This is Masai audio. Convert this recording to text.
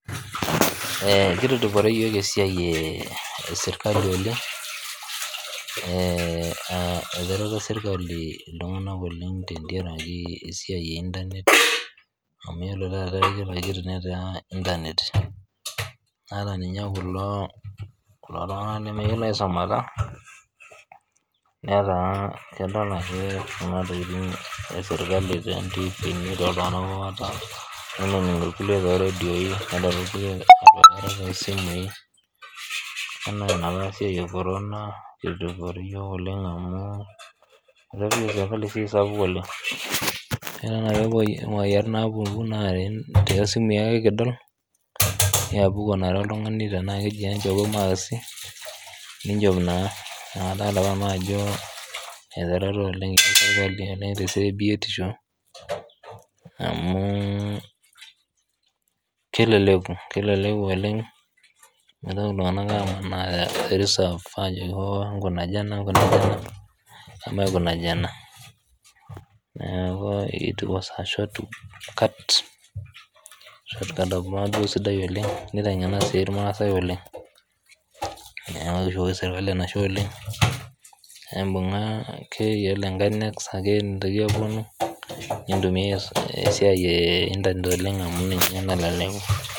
Kitudupore yook esiaai esirkali oleng eichorita sirkali ltunganak esiai e internet amu ore taa pooki toki nmetaa internet ta ninye kulo tunganak lemeyiolo aisumata netaa keton ake kuna tokitin esirkali te ntiipini too ltunganak kumok iyolo lkule te rediooii, nedol ilkule too simuii naa te simuii ake kidol nieakuku na oltungani tenaa keji enchom naa aa kadol ajo te siaai e biotisho amuu keleleku oleng netaa ltunganak enkang enkunaja emaikunaji ena naaku etiuwo anaa shortcut nabo eoitoi sidai oleng neitengena sii ilmaasai oleng naa oshi nasidai oleng naibungaa akebiye enkaina aitumuiyai esiaai e internet